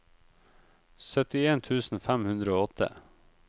syttien tusen fem hundre og åtte